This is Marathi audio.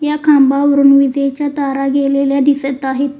या खांबावरून विजेच्या तारा गेलेल्या दिसत आहेत.